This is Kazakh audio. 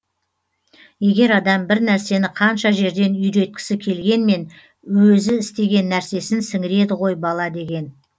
егер адам бір нәрсені қанша жерден үйреткісі келгенмен өзі істеген нәрсесін сіңіреді ғой бала деген